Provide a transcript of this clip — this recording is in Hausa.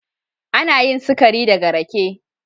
Ana yin sikari daga rake.